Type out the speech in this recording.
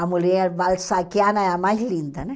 A mulher balzaquiana é a mais linda, né?